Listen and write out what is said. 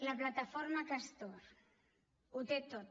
la plataforma castor ho té tot